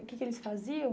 O que que eles faziam?